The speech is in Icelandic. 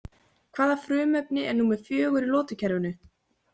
Hvaða frumefni er númer fjögur í lotukerfinu?